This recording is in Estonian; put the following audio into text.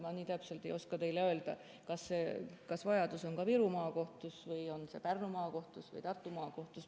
Ma nii täpselt ei oska teile öelda, kas vajadus on Viru Maakohtus või Pärnu Maakohtus või Tartu Maakohtus.